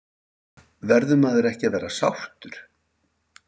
Verður maður ekki að vera sáttur?